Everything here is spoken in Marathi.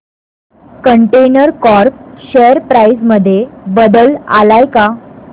कंटेनर कॉर्प शेअर प्राइस मध्ये बदल आलाय का